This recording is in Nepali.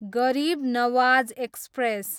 गरिब नवाज एक्सप्रेस